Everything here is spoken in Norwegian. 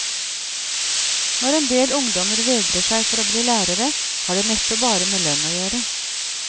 Når endel ungdommer vegrer seg for å bli lærere, har det neppe bare med lønn å gjøre.